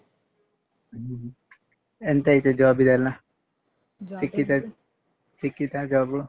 ಹ್ಮ್ ಎಂತಾಯ್ತು job ದೆಲ್ಲ ಸಿಕ್ಕಿತಾ ಸಿಕ್ಕಿತಾ job ?